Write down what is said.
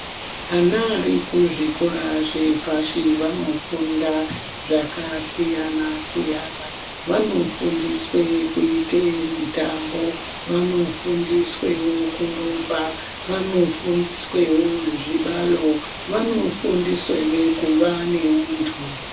Ana arikuzvikora zvepashi vanofunda zvakasiyana siyana vanofundiswa kuite mutambo vanofundiswewo kurumba vanofundiswewo kuite zvibalo vanofundiswewo kuva neuntu.